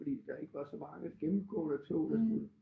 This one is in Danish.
Fordi der ikke var så mange gennemgående tog der skulle